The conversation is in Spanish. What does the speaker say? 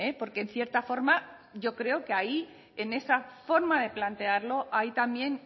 porque en cierta forma yo creo que ahí en esa forma de plantearlo hay también